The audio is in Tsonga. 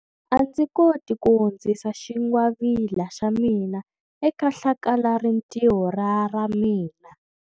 A ndzi koti ku hundzisa xingwavila xa mina eka hlakalarintiho ra ra mina.